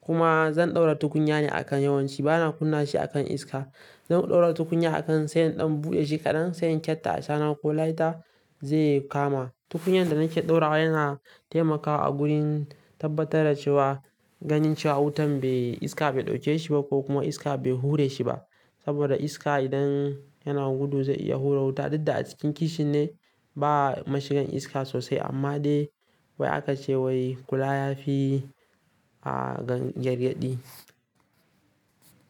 kuma zan ɗaura tukunya ne a kan yawanci bana kunna shi akan iska. Zan ɗaura tukunya akan sai in ɗan buɗe shi kaɗan, sai in kyatta ashana ko lighter zai kama. Tukunyan da nake ɗaura yana taimakawa a gurin tabbatar da cewa, ganin cewa wutan iska bai ɗauke shi ba ko kuma iska bai hure shi ba. Saboda iska idan yana gudu zai iya hura wuta, duk da a cikin kicin ne ba mashigan iska sosai amma dai wai aka ce wai kula yafi a gargaɗi.